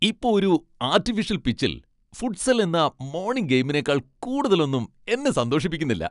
ഇപ്പൊ ഒരു ആർട്ടിഫിഷ്യൽ പിച്ചിൽ ഫുട്സൽ എന്ന മോണിങ് ഗെയിമിനെക്കാൾ കൂടുതലൊന്നും എന്നെ സന്തോഷിപ്പിക്കുന്നില്ല.